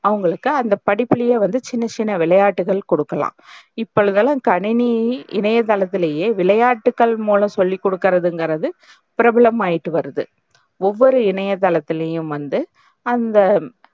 அவங்களுக்கு அந்த படிப்புலையே வந்து சின்ன சின்ன விளையாட்டுகள் கொடுக்கலாம். இப்பொழுதுலாம் கணினி இணையத்தளத்துலையே விளையாட்டுக்கள் மூலம் சொல்லிக்குடுக்குறதுன்றது பிரபலமாயட்டு வருது ஒவ்வொரு இணையத்தளத்துலையும் வந்து அவங்க,